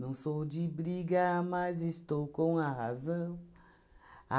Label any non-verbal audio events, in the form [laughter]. [sings] Não sou de briga, mas estou com a razão.